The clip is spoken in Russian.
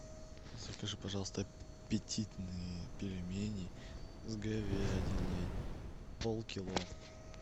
закажи пожалуйста аппетитные пельмени с говядиной полкило